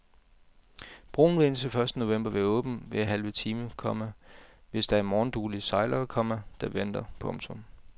Broen vil indtil første november være åben hver halve time, komma hvis der er morgenduelige sejlere, komma der venter. punktum